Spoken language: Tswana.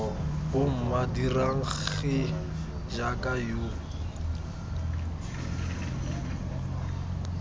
bomma dirang gee jaaka yo